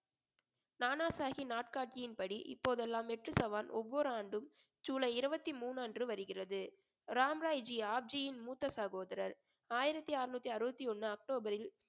நானாசாஹி நாட்காட்டியின்படி இப்போதெல்லாம் ஒவ்வொரு ஆண்டும் ஜூலை இருபத்தி மூணு அன்று வருகிறது ராம்ராய் ஜி ஆப்ஜியின் மூத்த சகோதரர் ஆயிரத்தி அறுநூத்தி அறுபத்தி ஒண்ணு அக்டோபரில்